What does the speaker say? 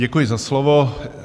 Děkuji za slovo.